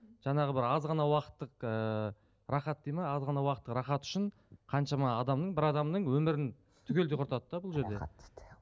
жаңағы бір аз ғана уақыттық ыыы рахат дейді ме аз ғана уақыттық рахат үшін қаншама адамның бір адамның өмірін түгелдей құртады да бұл жерде